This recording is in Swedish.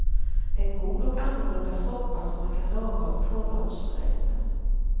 En god och annorlunda soppa som man kan laga av torra ostrester.